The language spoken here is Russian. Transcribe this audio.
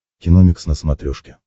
киномикс на смотрешке